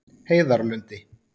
Heiðarlundi